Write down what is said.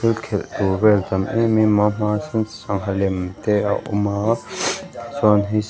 thil khelh tur vel a tam em em a hmaah sawn sangha lem te a awm a chuan--